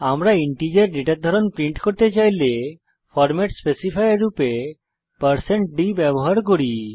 আমরা ইন্টিজার ডেটার ধরন প্রিন্ট করতে চাইলে ফরমেট স্পেসিফায়ার রূপে d ব্যবহার করব